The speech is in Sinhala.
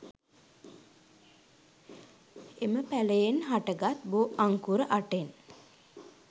එම පැළයෙන් හටගත් බෝ අංකුර අටෙන්